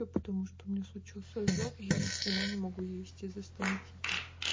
ну потому что у меня случился ожог я ни хрена не могу есть из за стоматита